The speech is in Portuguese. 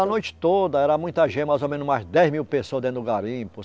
A noite toda, era muita gente, mais ou menos umas dez mil pessoas dentro do garimpo.